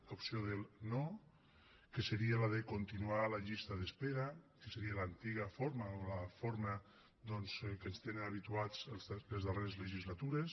l’opció del no que seria la de continuar la llista d’espera que seria l’antiga forma o la forma doncs que ens tenen habituats a les darreres legislatures